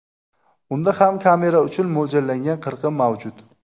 Unda ham kamera uchun mo‘ljallangan qirqim mavjud.